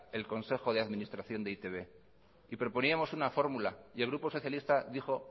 el consejo de administración de e i te be y proponíamos una fórmula y el grupo socialista dijo